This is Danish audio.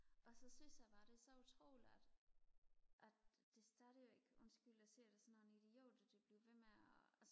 og så synes jeg bare det er så utroligt at at det stadigvæk undskyld jeg siger det sådan nogle idioter de bliver ved med og